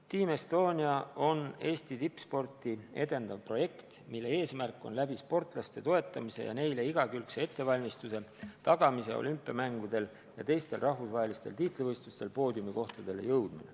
Team Estonia projekt on Eesti tippsporti edendav projekt, mille eesmärk on aidata sportlasi toetades ja neile igakülgset ettevalmistust tagades neil olümpiamängudel ja teistel rahvusvahelistel tiitlivõistlustel poodiumikohtadele jõuda.